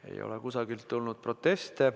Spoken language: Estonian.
Ei ole kusagilt tulnud proteste.